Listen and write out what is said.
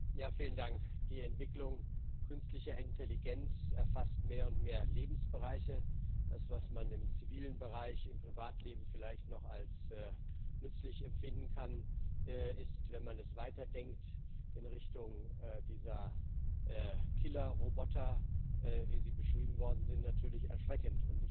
Herr Präsident! Die Entwicklung künstlicher Intelligenz erfasst mehr und mehr Lebensbereiche. Das, was man im zivilen Bereich, im Privatleben vielleicht noch als nützlich empfinden kann, ist, wenn man das weiterdenkt in Richtung dieser Killerroboter, wie sie beschrieben worden sind, natürlich erschreckend.